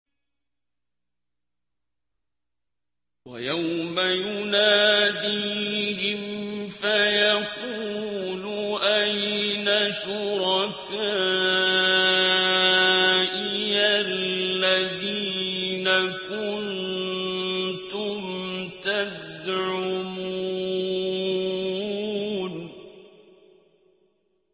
وَيَوْمَ يُنَادِيهِمْ فَيَقُولُ أَيْنَ شُرَكَائِيَ الَّذِينَ كُنتُمْ تَزْعُمُونَ